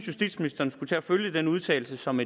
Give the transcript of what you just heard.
justitsministeren skulle følge den udtalelse som